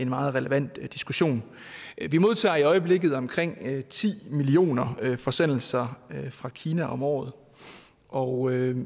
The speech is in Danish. meget relevant diskussion vi modtager i øjeblikket omkring ti millioner forsendelser fra kina om året og